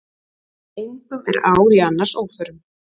Engum er ár í annars óförum.